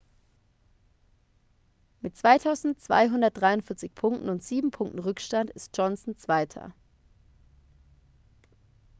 mit 2243 punkten und sieben punkten rückstand ist johnson zweiter